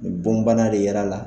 Bɔn bana de yɛra a la.